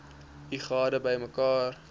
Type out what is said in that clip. u gade bymekaar